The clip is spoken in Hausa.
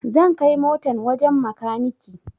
Zan kai motan wajen makaniki